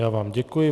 Já vám děkuji.